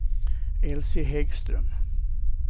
Elsie Häggström